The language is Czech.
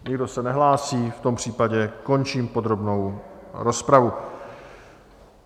Nikdo se nehlásí, v tom případě končím podrobnou rozpravu.